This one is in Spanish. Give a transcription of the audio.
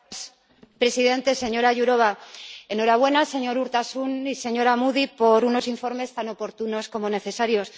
Señor presidente, señora Jourová, enhorabuena, señor Urtasun y señora Moody, por unos informes tan oportunos como necesarios.